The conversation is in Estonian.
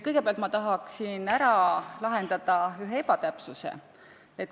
Kõigepealt ma tahan parandada ühe ebatäpsuse.